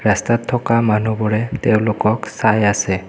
ৰাস্তাত থকা মানুহবোৰে তেওঁলোকক চাই আছে।